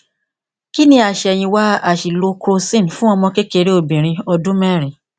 kí ni àṣẹyìnwá àṣìlò crocin fún ọmọkékeré obìnrin ọdún mẹrin